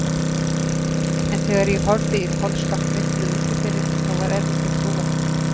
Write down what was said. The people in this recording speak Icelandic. En þegar ég horfði í kolsvart myrkrið úti fyrir, þá var erfitt að trúa því.